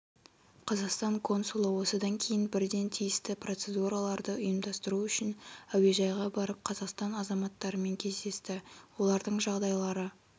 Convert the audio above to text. қазақстан консулы осыдан кейін бірден тиісті процедураларды ұйымдастыру үшінәуежайға барып қазақстан азаматтарымен кездесті олардың жағдайлары